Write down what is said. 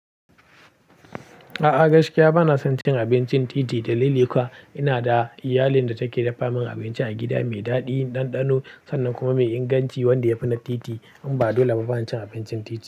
A'a gaskiya bana son cin abincin titi dalili kuwa. Ina da iyalin da take dafa min abinci a gida mai daɗi, ɗanɗano sannan kuma mai inganci wanda ya fi na titi. Inba doleba bana cin abincin titi.